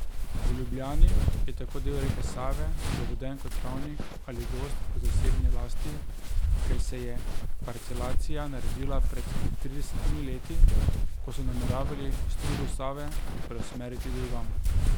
V Ljubljani je tako del reke Save zaveden kot travnik ali gozd v zasebni lasti, ker se je parcelacija naredila pred tridesetimi leti, ko so nameravali strugo Save preusmeriti drugam.